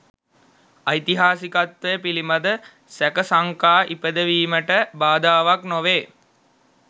ඓතිහාසිකත්වය පිළිබඳ සැක සංකා ඉපදවීමට බාධාවක් නොවේ